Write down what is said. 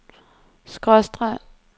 skråstreg